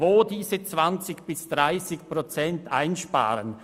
Wo sollen diese 20 bis 30 Prozent eingespart werden?